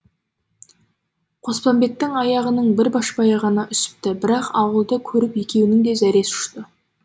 қоспанбеттің аяғының бір башпайы ғана үсіпті бірақ ауылды көріп екеуінің де зәресі ұшты